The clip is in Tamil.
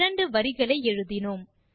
இரண்டு வரிகளை எழுதினோம்